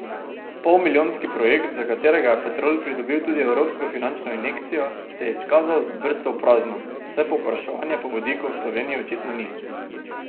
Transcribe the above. Polmilijonski projekt, za katerega je Petrol pridobil tudi evropsko finančno injekcijo, se je izkazal za brco v prazno, saj povpraševanja po vodiku v Sloveniji očitno ni.